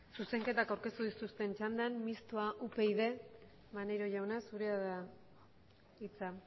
zuzenketak aurkeztu dituzten txandan mistoa upyd maneiro jauna zurea da hitza